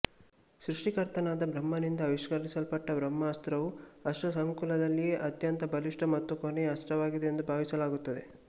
ಸೃಷ್ಟಿಕರ್ತನಾದ ಬ್ರಹ್ಮನಿಂದ ಆವಿಷ್ಕರಿಸಲ್ಪಟ್ಟ ಬ್ರಹ್ಮಾಸ್ತ್ರವು ಅಸ್ತ್ರಸಂಕುಲದಲ್ಲಿಯೇ ಅತ್ಯಂತ ಬಲಿಷ್ಟ ಮತ್ತು ಕೊನೆಯ ಅಸ್ತ್ರವಾಗಿದೆಯೆಂದು ಭಾವಿಸಲಾಗುತ್ತದೆ